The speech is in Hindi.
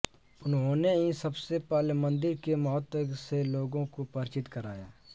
उन्होंने ही सबसे पहले मंदिर के महत्व से लोगों को परिचित कराया